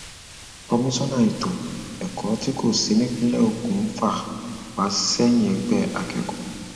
komisanna ètò um ẹkọ tí kò sì nípìnlẹ ogun ń fà um wá sẹyìnẹgbẹ akẹkọọ